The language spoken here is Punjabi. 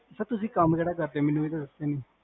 ਸਰ ਤੁਸੀਂ ਕਾਮ ਕੇਹੜਾ ਕਰਦੇ ਹੋ? ਮੈਨੂ ਇਹ ਤਾ ਦਸਿਆ ਹੀ ਨੀ